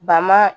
Ba ma